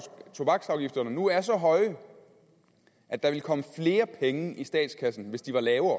tobaksafgifterne nu er så høje at der ville komme flere penge i statskassen hvis de var lavere